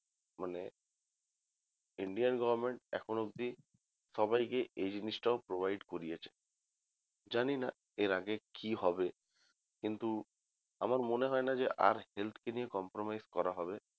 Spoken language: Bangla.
মানে Indian government এখন অবধি সবাইকে এই জিনিস টাও provide করিয়েছে জানিনা এর আগে কি হবে কিন্তু আমার মনে হয় না যে আর health কে নিয়ে compromise করা হবে